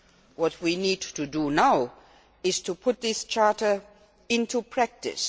What we need to do now is to put the charter into practice.